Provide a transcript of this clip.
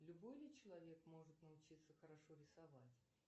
любой ли человек может научиться хорошо рисовать